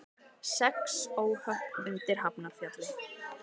Sex óhöpp undir Hafnarfjalli